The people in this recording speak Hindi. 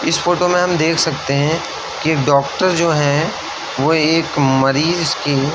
इस फोटो में हम देख सकते हैं कि डॉक्टर जो है वो एक मरीज की --